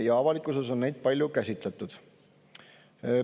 Ja avalikkuses on neid palju käsitletud.